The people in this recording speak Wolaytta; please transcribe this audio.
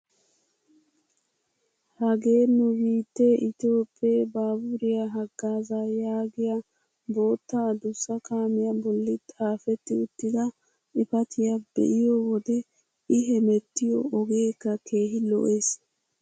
Hagee nu biittee itoophphee baaburiyaa hagaazaa yaagiyaa bootta adussa kaamiyaa bolli xaafetti uttida xifatiyaa be'iyoo wode i hemettiyoo ogeekka keehi lo"ees.